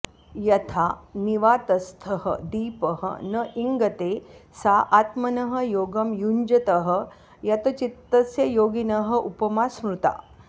यथा निवातस्थः दीपः न इङ्गते सा आत्मनः योगं युञ्जतः यतचित्तस्य योगिनः उपमा स्मृता